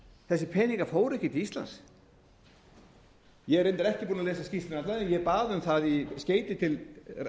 þessir peningar fóru ekki til íslands ég er reyndar ekki búinn að lesa skýrsluna alla en ég bað um það í skeyti til